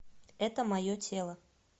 это мое тело